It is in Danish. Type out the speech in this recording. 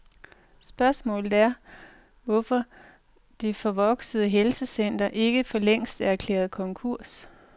Spørgsmålet er, hvorfor det forvoksede helsecenter ikke forlængst er erklæret konkurs?